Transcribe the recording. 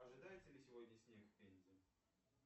ожидается ли сегодня снег в пензе